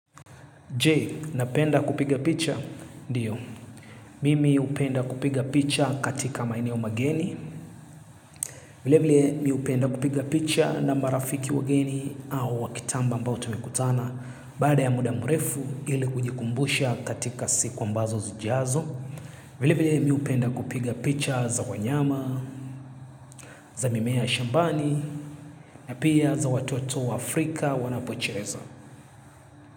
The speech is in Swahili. Je, napenda kupiga picha? Ndiyo, mimi hupenda kupiga picha katika maeneo mageni, vilevile mimi hupenda kupiga picha na marafiki wageni au wakitamba ambao tumekutana, baada ya muda murefu ili kujikumbusha katika siku ambazo zijiazo, vilevile mimi hupenda kupiga picha za wanyama, za mimea shambani, na pia za watoto Afrika wanapocheza.